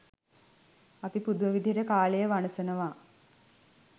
අපි පුදුම විදිහට කාලය වනසනවා.